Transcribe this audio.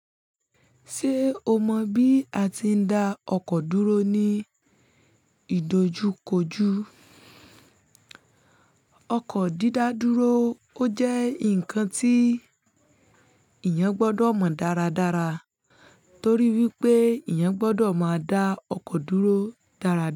Ṣé o mọ bí a ti ń da ọkọ̀ dúró ní ìdojúkojú? Ọkọ̀ dídá dúró ó jẹ́ nǹkan tí eeyàn gbọ́dọ̀ mọ dáradára torí wípé eeyàn gbọ́dọ̀ máa da ọkọ̀ dúró dáradára.